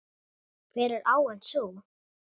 Hver er áin sú?